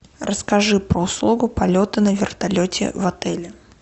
расскажи про услугу полета на вертолете в отеле